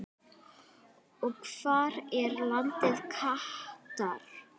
og Hvar er landið Katar?